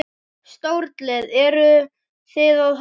Stórlið, eru Þið að horfa?